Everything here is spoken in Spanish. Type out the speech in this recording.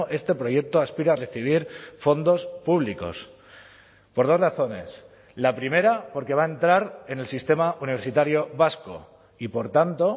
este proyecto aspira a recibir fondos públicos por dos razones la primera porque va a entrar en el sistema universitario vasco y por tanto